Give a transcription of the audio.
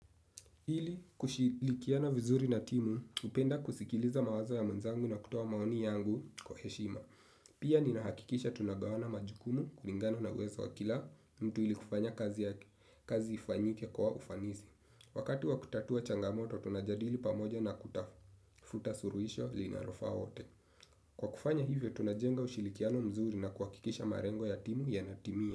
Ili kushirikiana vizuri na timu, napenda kusikiliza mawazo ya wenzangu na kutoa maoni yangu kwa heshima. Pia ninahakikisha tunagawana majukumu kulingana na uwezo wa kila mtu ili kufanya kazi, kazi ifanyike kwa ufanisi. Wakati wa kutatua changamoto, tunajadili pamoja na kutafuta suluhisho linalofaa. Kwa kufanya hivyo, tunajenga ushirikiano mzuri na kuhakikisha malengo ya timu yanatimia.